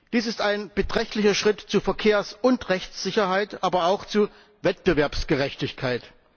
Dies ist ein beträchtlicher Schritt zur Verkehrs und Rechtssicherheit, aber auch zu Wettbewerbsgerechtigkeit.